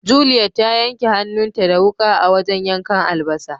Juliet ta yanka hannun ta da wuka a wajen yankan albasa.